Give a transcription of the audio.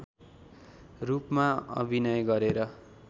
रूपमा अभिनय गरेर